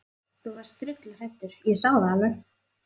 Þú varst drulluhræddur, ég sá það alveg.